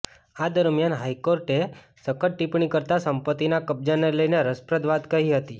આ દરમ્યાન હાઈકોર્ટે સખત ટિપ્પણી કરતાં સંપત્તિના કબજાને લઈને રસપ્રદ વાત કહી હતી